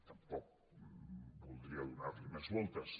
tampoc voldria donar hi més voltes